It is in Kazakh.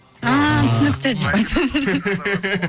ааа түсінікті деп айтса